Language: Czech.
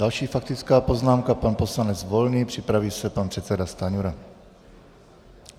Další faktická poznámka pan poslanec Volný, připraví se pan předseda Stanjura.